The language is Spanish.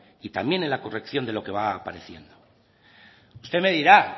y también en la corrección de lo que va apareciendo usted me dirá